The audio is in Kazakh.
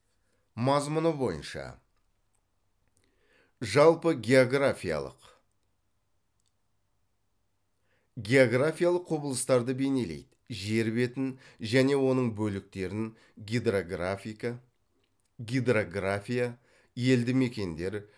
мазмұны бойынша жалпыгеографиялық географиялық құбылыстарды бейнелейді жер бетін және оның бөліктерін гидрография елді мекендер